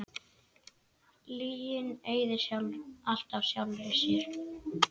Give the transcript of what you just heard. Lygin eyðir alltaf sjálfri sér.